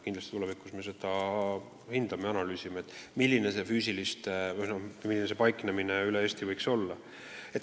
Kindlasti me analüüsime seda, kuidas need kohad üle Eesti paikneda võiks.